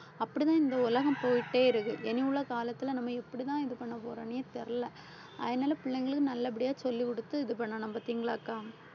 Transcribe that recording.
அப்படிதான் இந்த உலகம் போயிட்டே இருக்கு இனி உள்ள காலத்துல நம்ம எப்படிதான் இது பண்ண போறோன்னே தெரியல. அதனால பிள்ளைங்களுக்கு நல்லபடியா சொல்லிக் கொடுத்து இது பண்ணணும் பார்த்தீங்களா அக்கா